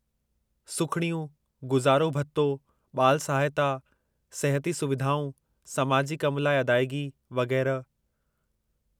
सुखिड़ियूं, गुज़ारो भत्तो, ॿाल सहायता, सिहती सुविधाऊं, समाजी कम लाइ अदाइगी, वगै़रह।